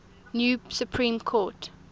new supreme court